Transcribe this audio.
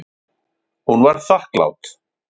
Hún var þakklát.